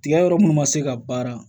Tigɛ yɔrɔ munnu ma se ka baara